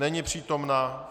Není přítomna.